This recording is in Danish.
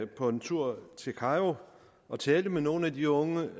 på en tur til kairo og talte med nogle af de unge